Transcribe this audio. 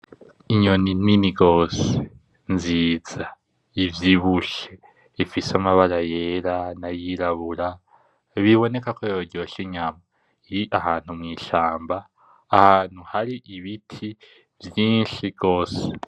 Inyoni nini gose nziza , ivyibushe, ifise amabara yera n’ayirabura biboneka ko yoryosha inyama. Iri ahantu mw’ishamba ahantu hari ibiti vyinshi gose.